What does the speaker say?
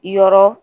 Yɔrɔ